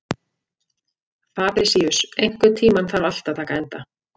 Fabrisíus, einhvern tímann þarf allt að taka enda.